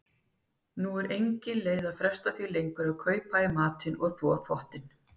Nú er engin leið að fresta því lengur að kaupa í matinn og þvo þvottinn.